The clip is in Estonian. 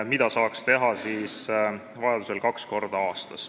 Seda saaks siis vajadusel teha kaks korda aastas.